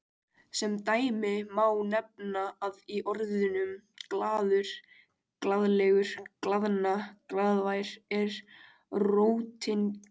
Sem dæmi má nefna að í orðunum glaður, glaðlegur, glaðna, glaðvær er rótin glað-.